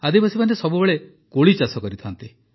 ଆଦିବାସୀମାନେ ସବୁବେଳେ କୋଳି ଚାଷ କରିଥାନ୍ତି